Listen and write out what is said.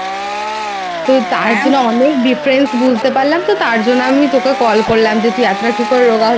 তো তার জন্য অনেক Difference বুঝতে পারলাম তো তার জন্য আমি তোকে Call করলাম যে তুই এতটা কি করে